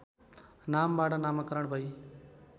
नामबाट नामाकरण भई